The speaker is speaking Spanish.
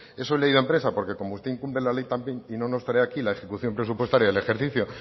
eso he leído en prensa porque como usted incumple la ley también y no nos trae aquí la ejecución presupuestaria del ejercicio